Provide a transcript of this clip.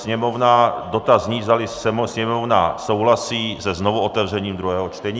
Sněmovna - dotaz zní, zdali Sněmovna souhlasí se znovuotevřením druhého čtení.